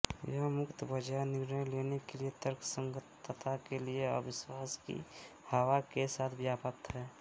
यह मुक्तबाजार निर्णय लेने की तर्कसंगतता के लिए अविश्वास की हवा के साथ व्याप्त है